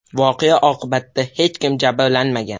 Voqea oqibatida hech kim jabrlanmagan.